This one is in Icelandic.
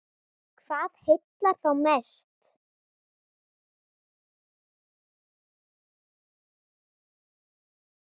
Hvað heillar þá mest?